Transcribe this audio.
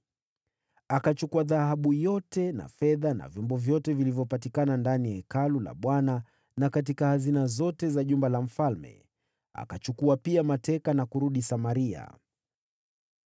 Akachukua dhahabu yote na fedha na vyombo vyote vilivyopatikana ndani ya Hekalu la Bwana na katika hazina zote za jumba la mfalme. Akachukua pia mateka na akarudi Samaria.